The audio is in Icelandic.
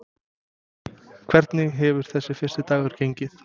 Hvernig hefur þessi fyrsti dagur gengið?